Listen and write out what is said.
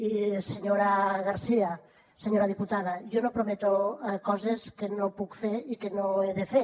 i senyora garcía senyora diputada jo no prometo coses que no puc fer i que no he de fer